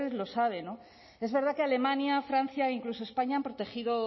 lo sabe es verdad que alemania francia e incluso españa han protegido